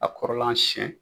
A kɔrɔla siɲɛn.